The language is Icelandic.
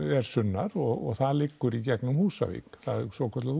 er sunnar og það liggur í gegnum Húsavík það er svokallað